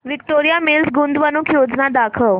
Victoria Mills गुंतवणूक योजना दाखव